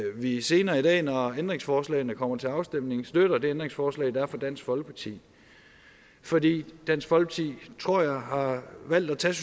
vi senere i dag når ændringsforslagene kommer til afstemning støtter det ændringsforslag der er fra dansk folkeparti fordi dansk folkeparti tror jeg har valgt at tage